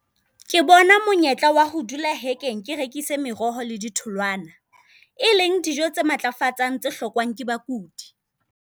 Ke bona monyetla wa ho dula hekeng ke rekise meroho le di tholoana, e leng dijo tse matlafatsang tse hlokwang ke bakudi.